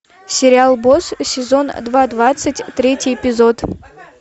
сериал босс сезон два двадцать третий эпизод